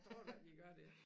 Tror du ikke de gør det